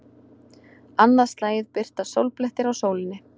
Annað slagið birtast sólblettir á sólinni.